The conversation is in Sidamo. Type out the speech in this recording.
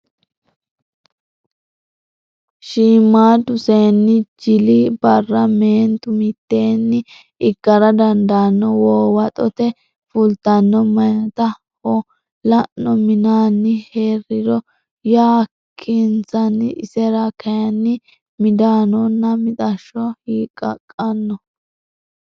Shiimmaaddu seenni jili barra meentu mitteenni ikkara dandaanno Woowaxote fultanno meyaata ho lanno minaanni hee riro yakkinsanni isera kayinni midaanonna mixashsho hiqqaqqanno.